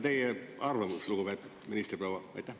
Teie arvamus, lugupeetud ministriproua!